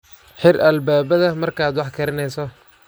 Xir albaabbada markaad wax karinayso.